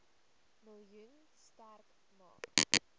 miljoen sterk maak